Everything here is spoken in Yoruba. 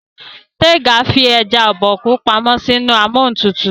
Tega fí eja Obokun pàmò sí inú Amóhuntutù.